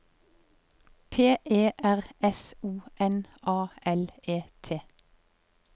P E R S O N A L E T